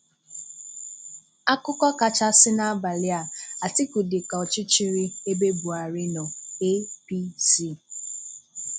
Akụkọ kachàsị n’abalị a: Atiku dị ka ọchịchịrị ebe Buhari nọ – APC.